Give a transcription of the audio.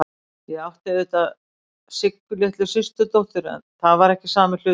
Ég átti auðvitað Siggu litlu systurdóttur, en það er ekki sami hlutur.